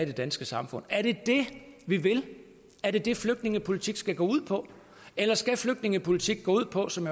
det danske samfund er det det vi vil er det det flygtningepolitik skal gå ud på eller skal flygtningepolitik gå ud på som